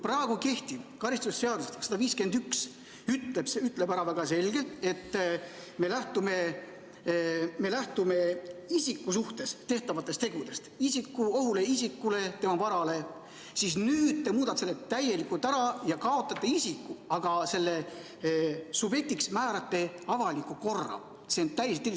Praegu kehtiv karistusseadustiku § 151 ütleb väga selgelt, et me lähtume isiku suhtes tehtavatest tegudest – oht isikule, tema varale –, aga teie muudate selle täielikult ära, kaotate isiku ja määrate subjektiks avaliku korra.